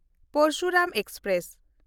Parashuram express